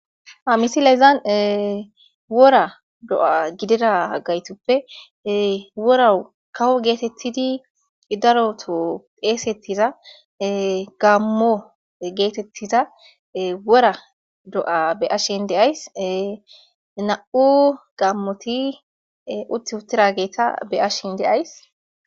ha misilezan wora do'a gidida gaytoppe worau kawo geetettidi idaroto esettiza gammo geetettiza wora do'a be'ashin de'ays na'u gammoti uttigatura be'ashin deays